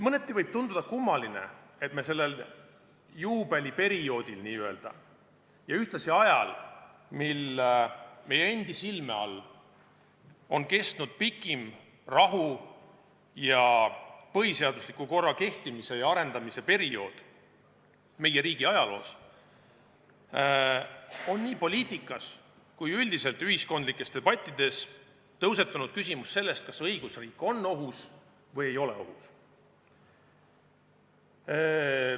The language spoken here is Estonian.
Mõneti võib tunduda kummaline, et sellel juubeliperioodil ja ühtlasi ajal, mil meie endi silme all on kestnud pikim rahu- ning põhiseadusliku korra kehtimise ja arendamise periood meie riigi ajaloos, on nii poliitikas kui ka üldiselt ühiskondlikes debattides tõusetunud küsimus sellest, kas õigusriik on ohus või ei ole ohus.